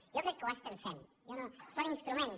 jo crec que ho estem fent són instruments